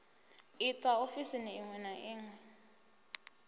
itwa ofisini iṅwe na iṅwe